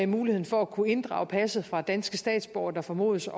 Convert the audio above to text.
muligheden for at kunne inddrage passet fra danske statsborgere der formodes